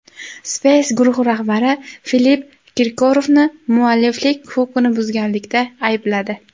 Space guruhi rahbari Filipp Kirkorovni mualliflik huquqini buzganlikda aybladi.